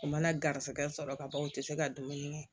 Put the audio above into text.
U mana garisɛgɛ sɔrɔ ka ban u tɛ se ka dumuni kɛ